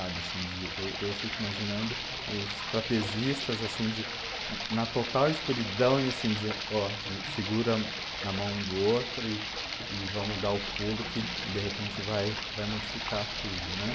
sabe assim de. Eu eu fico imaginando os trapezistas assim de, na total escuridão e assim dizendo, ó segura na mão do outro e vamos dar o pulo que de repente vai vai modificar tudo.